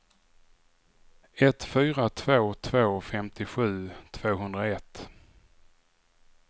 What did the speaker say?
ett fyra två två femtiosju tvåhundraett